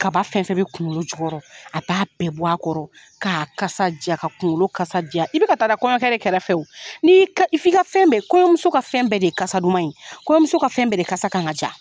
Kaba fɛn fɛn bi kunkolo jukɔrɔ, a b'a bɛɛ bɔ a kɔrɔ ka kasa ja, ka kunkolo kasa ja. I bi ka taa da kɔɲɔkɛ de kɛrɛfɛ wo i ka, f'i ka fɛn bɛɛ kɔɲɔmuso ka fɛn bɛɛ de ye kasa duman ye , kɔɲɔmuso ka fɛn bɛɛ de kasa kan ka ja.